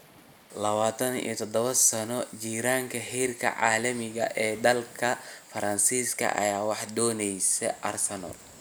27-sano jirkaan heerka caalami ee dalka Faransiiska ayaa waxaa dooneysa Arsenal.